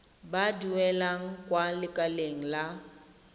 ba duelang kwa lekaleng la